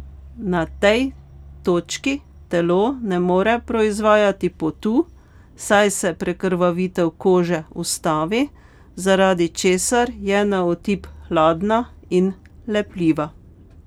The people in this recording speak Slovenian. Na tej točki telo ne more proizvajati potu, saj se prekrvavitev kože ustavi, zaradi česar je na otip hladna in lepljiva.